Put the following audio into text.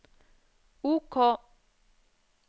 OK